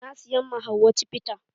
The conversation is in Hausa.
Na siyan ma hauwa cibita.